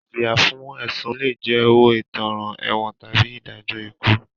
Ìjìyà fún ẹ̀sùn lé jẹ́ owó ìtanràn, ẹ̀wọ̀n tàbí ìdájọ́ ikú.